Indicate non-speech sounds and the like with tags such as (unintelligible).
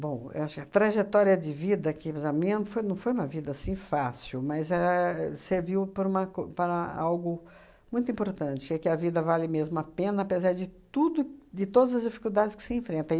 Bom, acho a trajetória de vida aqui (unintelligible) a minha não foi não foi uma vida assim fácil, mas éh serviu para uma co para algo muito importante, que a vida vale mesmo a pena, apesar de tudo de todas as dificuldades que se enfrenta